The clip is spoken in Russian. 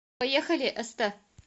поехали эстэ